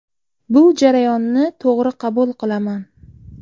Bu jarayonni to‘g‘ri qabul qilaman.